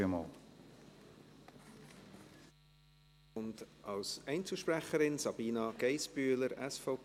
Und als Einzelsprecherin, Sabina Geissbühler, SVP.